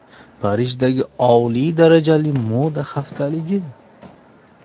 Parijdagi oliy darajali moda haftaligi .